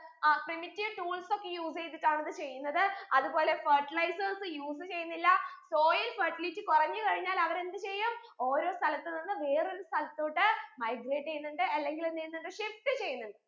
ആ primitive tools ഒക്കെ use എയ്തിട്ടാണ് ഇത് ചെയ്യുന്നത് അത് പോലെ fertilizers use ചെയ്യുന്നില്ല soil fertility കുറഞ്ഞു കഴിഞ്ഞാൽ അവർ എന്ത് ചെയ്യും ഓരോ സ്ഥലത്തു നിന്ന് വേറെ ഒരു സ്ഥലത്തോട്ട് migrate ചെയ്യുന്നുണ്ട് അല്ലെങ്കിൽ എന്ത് ചെയ്യുന്നുണ്ട് shift ചെയ്യുന്നുണ്ട്